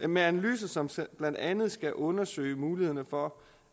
med analyser som blandt andet skal undersøge mulighederne for